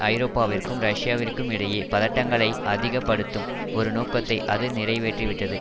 ஐரோப்பாவிற்கும் ரஷ்யாவிற்கும் இடையே பதட்டங்களை அதிக படுத்தும் ஒரு நோக்கத்தை அது நிறைவேற்றிவிட்டது